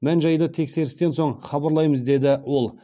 мән жайды тексерістен соң хабарлаймыз деді ол